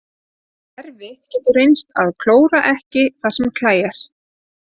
Erfitt getur reynst að klóra ekki þar sem klæjar.